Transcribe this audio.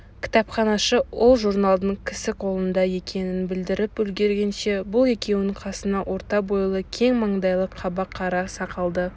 кітапханашы ол журналдың кісіқолында екенін білдіріп үлгергенше бұл екеунің қасына орта бойлы кең маңдайлы қаба қара сақалды